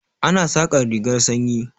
Ana saƙar rigar sanyi.